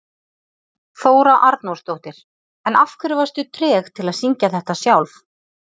Þóra Arnórsdóttir: En af hverju varstu treg til að syngja þetta sjálf?